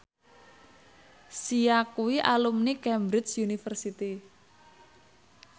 Sia kuwi alumni Cambridge University